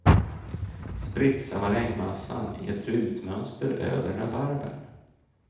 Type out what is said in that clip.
Spritsa marängmassan i ett rutmönster över rabarbern.